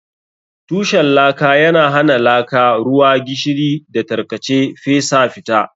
Tushen laka yana hana laka, ruwa, gishiri, da tarkace fesa fita.